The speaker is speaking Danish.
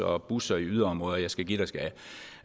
og busser i yderområderne og jeg skal give dig skal